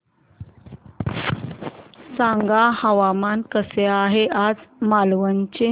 सांगा हवामान कसे आहे आज मालवण चे